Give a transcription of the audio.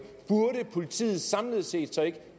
burde politiet samlet set så ikke